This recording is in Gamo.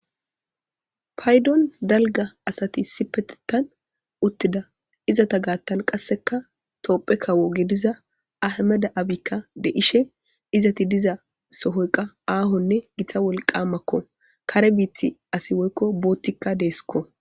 paydon dalga asati sipetetan uttida izata gaattan qasseka toopphe kawo gediza ahameda7abikka de ishe izati diza sohoyqa aahonne githa wolqamakko kare biiti asi woykko boottikka deesikko